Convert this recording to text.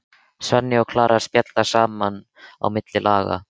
Svenni og Klara spjalla saman á milli laga.